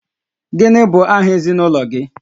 Gịnị bụ aha ezinụlọ gị?